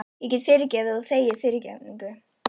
Ég get fyrirgefið og þegið fyrirgefningu.